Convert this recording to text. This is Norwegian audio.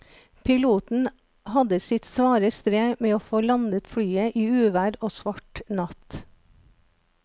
Piloten hadde sitt svare strev med å få landet flyet i uvær og svart natt.